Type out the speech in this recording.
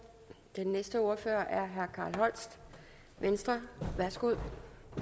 den næste ordfører er herre carl holst venstre værsgo